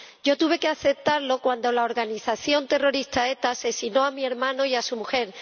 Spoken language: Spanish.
Yo tuve que aceptarlo cuando la organización terrorista ETA asesinó a mi hermano y a su mujer.